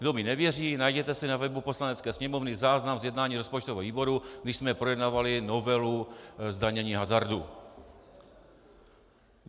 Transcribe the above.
Kdo mi nevěří, najděte si na webu Poslanecké sněmovny záznam z jednání rozpočtového výboru, když jsme projednávali novelu zdanění hazardu.